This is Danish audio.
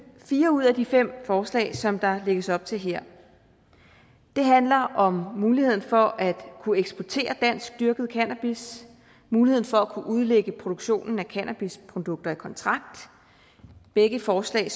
fire ud af de fem forslag som der lægges op til her det handler om muligheden for at kunne eksportere danskdyrket cannabis muligheden for at kunne udlægge produktionen af cannabisprodukter i kontrakt begge forslag